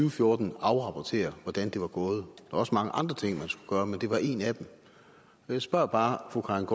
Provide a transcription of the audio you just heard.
og fjorten afrapportere hvordan det var gået der også mange andre ting man skulle gøre men det var en af dem jeg spørger bare fru karin